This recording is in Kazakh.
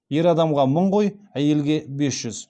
ер адамға мың қой әйелге бес жүз